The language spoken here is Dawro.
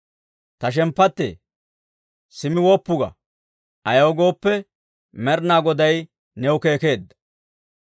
Ta shemppattee, simmi woppu ga; ayaw gooppe, Med'inaa Goday new keekeedda.